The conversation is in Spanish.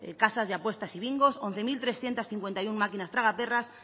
casas de apuestas y bingos once mil trescientos cincuenta y uno máquinas tragaperras